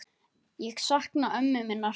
Ég sakna ömmu minnar.